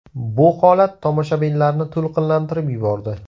Bu holat tomoshabinlarni to‘lqinlantirib yubordi.